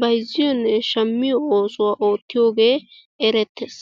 bayzziyonne shammiyo oosuwa oottiyooge erettees.